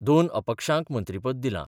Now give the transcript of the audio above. दोन अपक्षांक मंत्रीपद दिलां.